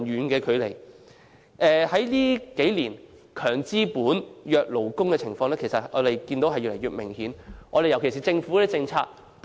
近年，"強資本，弱勞工"的情況越來越明顯，尤其在政府政策方面。